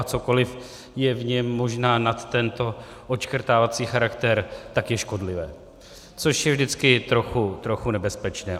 A cokoliv je v něm možná nad tento odškrtávací charakter, tak je škodlivé, což je vždycky trochu nebezpečné.